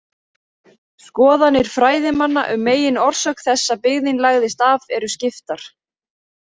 Skoðanir fræðimanna um meginorsök þess að byggðin lagðist af eru skiptar.